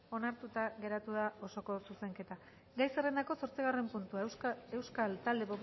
onartuta geratu da osoko zuzenketa gai zerrendako zortzigarren puntua euskal talde